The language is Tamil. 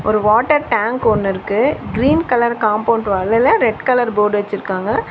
ஒரு வாட்டர் டேங்க் ஒன்னு இருக்கு. கிரீன் கலர் காம்பௌண்ட் வாலுல ரெட் கலர் போர்டு வெச்சிருக்காங்க.